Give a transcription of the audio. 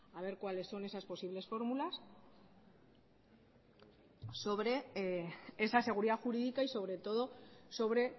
a ver cuáles son esas posibles fórmulas sobre esa seguridad jurídica y sobre todo sobre